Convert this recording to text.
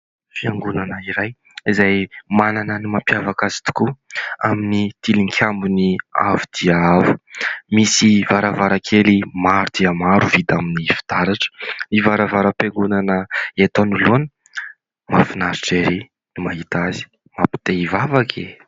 Fiangonana iray izay manana ny mampiavaka azy tokoa amin'ny tilikambony avo dia avo. Misy varavarankely maro dia maro vita amin'ny fitaratra ; ny varavaram-piangonana eto anoloana mahafinaritra ery ny mahita azy, mampite hivavaka e !